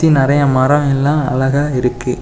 சுத்தி நெறைய மரம் எல்லாம் அழகா இருக்கு.